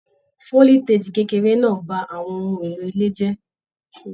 Foliteji kékeré náà bá àwọn ohùn èlò ilé jẹ.